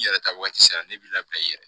N yɛrɛ ta waati sera ne b'i labila i yɛrɛ